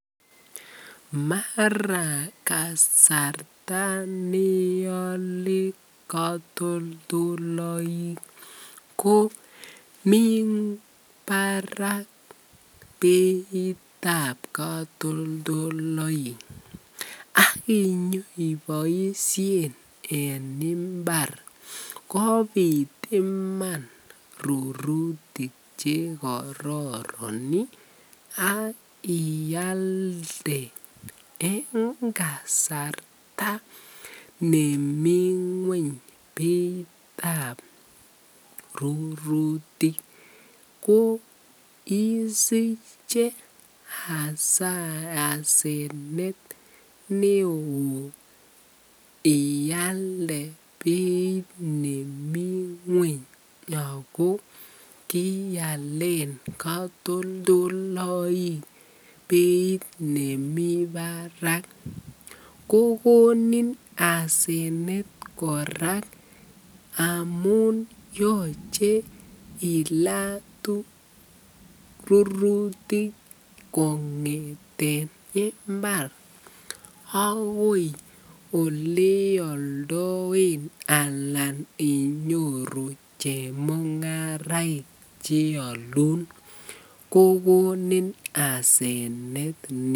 Mara kasarta neole kotoldoloik komii barak beitab katoldoloik ak inyoiboishen en mbar kobit iman rurutik che kororon ak ialde en kasarta nemii ngweny beitab rurutik ko isiche asenet neo ialde beit nemii ngweny ak ko kialen katoldoloik beit nemii barak, kokonin asenet kora amun yoche ilaa rurutik kengeten mbar ak koi eleoldoen alan inyoru chemungaraik cheolun kokonin asenet neo.